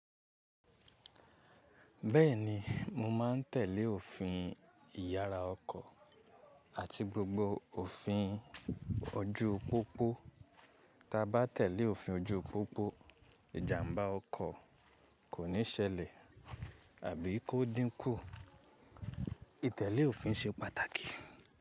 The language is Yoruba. Bẹ́ẹ̀ni, mo ma n tèlé òfin ìyara ọkọ̀ àti gbogbo òfin ọju pópó. Ta ba tèlé òfin ọju pópó, ìjàmbá ọkọ̀ kò ní ṣẹlẹ̀ àbí kó dínkù. Ìtẹ́lé òfin ṣe pàtàkì.